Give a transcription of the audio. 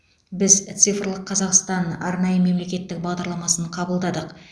біз цифрлық қазақстан арнайы мемлекеттік бағдарламасын қабылдадық